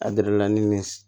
A